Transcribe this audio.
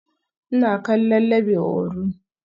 Ina kallon Labe Orun